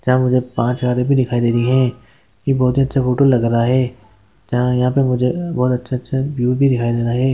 यहाँ मुझे पांच हजार भी दिखाई दे रही है। ये बहुत ही अच्छा फोटो लग रहा है। यहाँ-यहाँ पे मुझे बहुत अच्छा - अच्छा व्यू भी दिखाई दे रहा है।